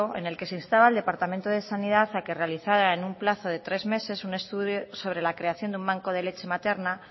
en el que se instaba al departamento de sanidad a que realizara en un plazo de tres meses un estudio sobre la creación de un banco de leche materna